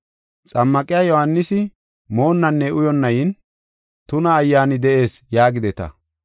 Xammaqiya Yohaanisi moonnanne uyonna yin, ‘Tuna ayyaani de7ees’ yaagideta.